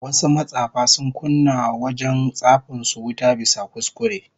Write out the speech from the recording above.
Wasu matsafa sun kunna wa wajen tsafin su wuta bisa kuskure